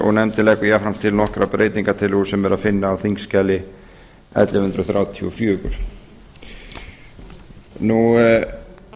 og nefndin leggur jafnframt til nokkrar breytingartillögur sem er að finna á þingskjali ellefu hundruð þrjátíu og fjögur á